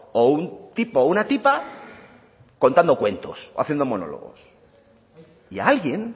o un tipo o una tipa contando cuentos o haciendo monólogos y a alguien